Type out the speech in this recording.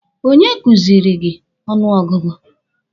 Onye kuziri gị ọnụ ọgụgụ?